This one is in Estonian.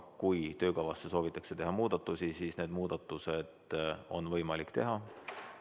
Kui töökavasse soovitakse teha muudatusi, siis need muudatused on võimalik teha.